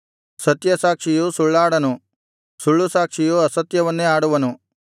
ಸತ್ಯಸಾಕ್ಷಿಯು ಸುಳ್ಳಾಡನು ಸುಳ್ಳುಸಾಕ್ಷಿಯು ಅಸತ್ಯವನ್ನೇ ಆಡುವನು